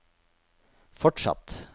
fortsatt